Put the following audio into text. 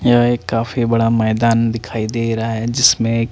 या एक काफी बड़ा मैदान दिखाई दे रहा है जिसमे एक--